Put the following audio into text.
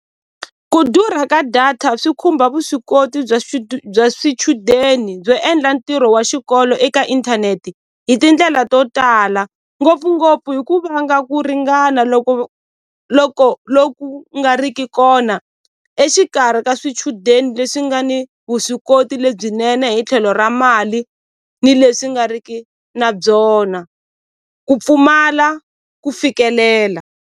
Ku durha ka data swi khumba vuswikoti bya bya swichudeni byo endla ntirho wa xikolo eka inthanete hi tindlela to tala ngopfungopfu hi ku vanga ku ringana loko loko loku nga riki kona exikarhi ka swichudeni leswi nga ni vuswikoti lebyinene hi tlhelo ra mali ni leswi nga riki na byona ku pfumala ku fikelela.